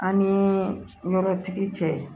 An ni yɔrɔtigi cɛ